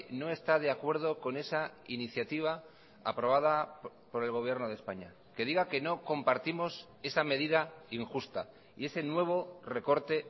no está de acuerdo con esa iniciativa aprobada por el gobierno de españa que diga que no compartimos esa medida injusta y ese nuevo recorte